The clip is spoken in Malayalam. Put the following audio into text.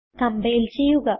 കംപൈൽ ചെയ്യുക